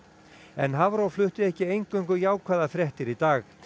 en Hafró flutti ekki eingöngu jákvæðar fréttir í dag